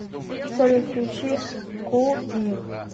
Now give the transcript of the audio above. салют включи ку пи